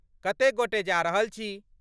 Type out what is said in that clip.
कतेक गोटे जा रहल छी?